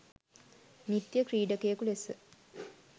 නිත්‍ය ක්‍රීඩකයකු ලෙස